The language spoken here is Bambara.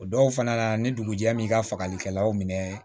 O dɔw fana na ni dugujɛ min ka fagalikɛlaw minɛ